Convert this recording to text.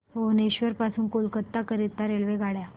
भुवनेश्वर पासून कोलकाता करीता रेल्वेगाड्या